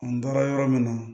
An taara yɔrɔ min na